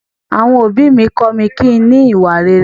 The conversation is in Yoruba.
Àwọn òbí mi kọ mí kín ní ìwà rere.